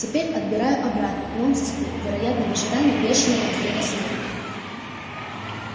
теперь отбираю обратно и он застыл вероятно в ожидании бешеного взрыва смеха